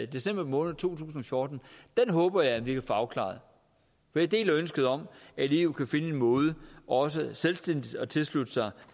december måned to tusind og fjorten håber jeg at vi kan få afklaret for jeg deler ønsket om at eu kan finde en måde også selvstændigt at tilslutte sig